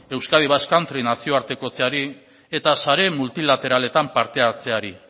euskadi basque country nazioartekotzeari eta sare multilateraletan parte hartzeari